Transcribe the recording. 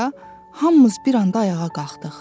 hamımız bir anda ayağa qalxdıq.